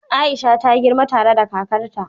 Aisha ta girma tare da kakarta.